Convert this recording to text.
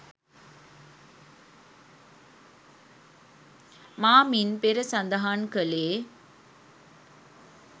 මා මින් පෙර සදහන් කළේ